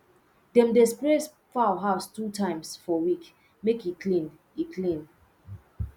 dem dey spray fowl house two times for week make e clean e clean